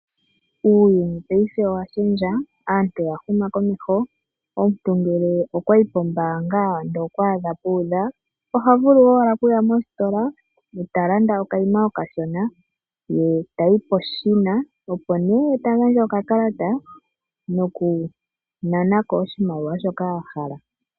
Uuyuni paife owa shendja, aantu oya huma komeho. Omuntu ngele okwa yi pombaanga nde okwa adha pu udha oha vulu owala okuya mositola eta landa okayima okashona ye tayi peshina opo nee ta gandja okakalata nokunana ko oshimaliwa shoka a hala.